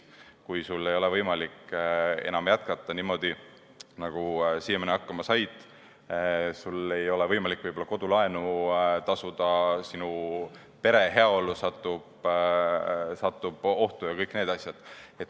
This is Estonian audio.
Kui sul ei ole võimalik enam jätkata niimoodi, nagu siiamaani hakkama said, sul ei ole võimalik võib-olla kodulaenu tasuda, sinu pere heaolu satub ohtu ja kõik need asjad.